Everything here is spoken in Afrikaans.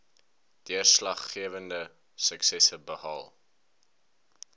deurslaggewende suksesse behaal